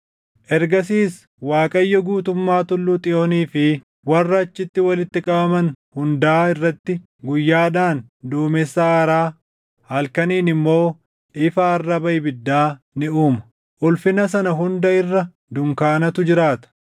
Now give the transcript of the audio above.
Ergasiis Waaqayyo guutummaa Tulluu Xiyoonii fi warra achitti walitti qabaman hundaa irratti guyyaadhaan duumessa aaraa, halkaniin immoo ifa arraba ibiddaa ni uuma; ulfina sana hunda irra dunkaanatu jiraata.